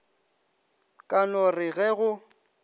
ka no re ge go